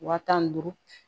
Waa tan ni duuru